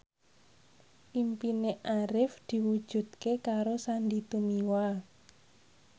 impine Arif diwujudke karo Sandy Tumiwa